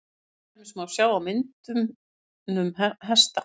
til dæmis má sjá á myndunum hesta